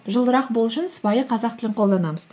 жылырақ болу үшін сыпайы қазақ тілін қолданамыз